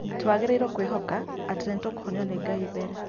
Twagĩriirwo kwĩhoka atĩ nĩtũkũhonio nĩ Ngai mbere